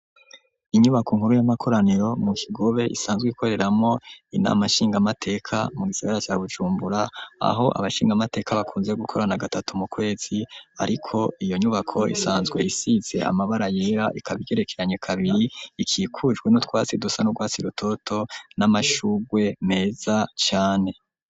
Inyubako nkuru y'amakoraniro mu kigobe isanzwe ikoreramo inamashingamateka mu gisigara ca Bujumbura aho abashingamateka bakunze gukorana gatatu mu kwezi ariko iyo nyubako isanzwe isize amabara yera ikabiyerekeranye kabiri ikikujwe n'utwasi dusa n'ubwasi rutoto n'amashugwe meza cyane.